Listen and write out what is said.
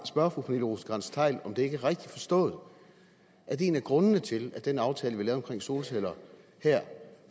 spørge fru pernille rosenkrantz theil om det ikke er rigtigt forstået at en af grundene til at den aftale vi lavede omkring solceller